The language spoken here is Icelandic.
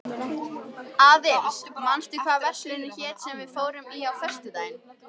Aðils, manstu hvað verslunin hét sem við fórum í á föstudaginn?